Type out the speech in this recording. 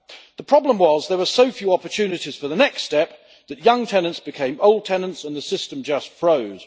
The problem was that there were so few opportunities for the next step that young tenants became old tenants and the system just froze.